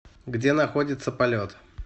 где находится полет